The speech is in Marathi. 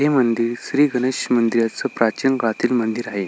हे मंदिर श्री गणेश प्राचीन काळातील मंदिर आहे.